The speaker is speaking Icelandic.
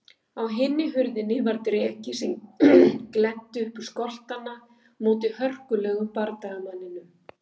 Á hinni hurðinni var dreki sem glennti upp skoltana móti hörkulegum bardagamanninum.